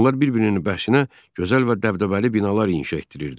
Onlar bir-birinin bəxşinə gözəl və dəbdəbəli binalar inşa etdirirdilər.